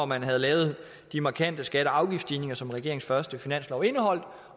man havde lavet de markante skatte og afgiftsstigninger som regeringens første finanslov indeholdt